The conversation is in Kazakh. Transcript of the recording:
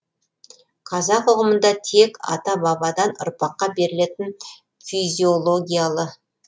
қазақ ұғымында тек ата бабадан ұрпаққа берілетін физиологиялы